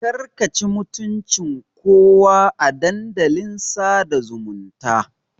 Ƙarka ci mutuncin kowa a Dandalin sada zumunta.